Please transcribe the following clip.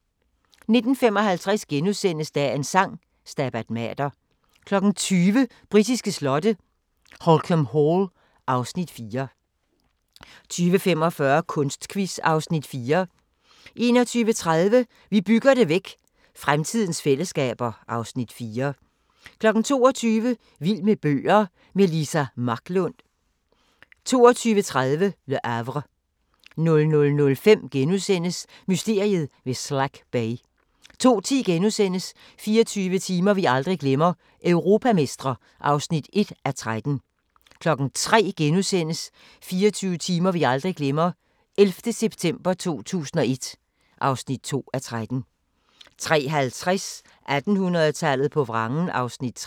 19:55: Dagens Sang: Stabat Mater * 20:00: Britiske slotte: Holkham Hall (Afs. 4) 20:45: Kunstquiz (Afs. 4) 21:30: Vi bygger det væk – fremtidens fællesskaber (Afs. 4) 22:00: Vild med bøger – med Liza Marklund 22:30: Le Havre 00:05: Mysteriet ved Slack Bay * 02:10: 24 timer vi aldrig glemmer – europamestre (1:13)* 03:00: 24 timer vi aldrig glemmer – 11. september 2001 (2:13)* 03:50: 1800-tallet på vrangen (3:8)